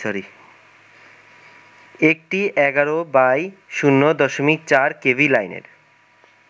একটি ১১/০.৪ কেভি লাইনের